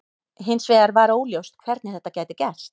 Hins vegar var óljóst hvernig þetta gæti gerst.